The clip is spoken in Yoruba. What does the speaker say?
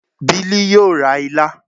Bili yoo re ila